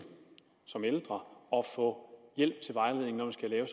som ældre og få hjælp